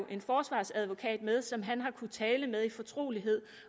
en forsvarsadvokat med som han har kunnet tale med i fortrolighed